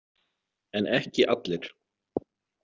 En ekki allir.